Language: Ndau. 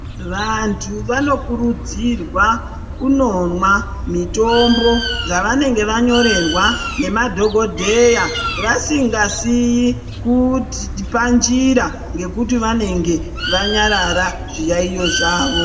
Vantu vanokurudzirwa kundomwa mitombo dzavanenge vanyorerwa nemadhokodheya vasingasii panjira nekuti vanenge vanyarara zviyaiyo zvawo.